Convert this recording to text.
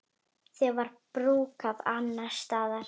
Það var brúkað annars staðar.